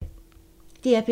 DR P3